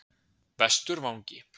Vesturvangi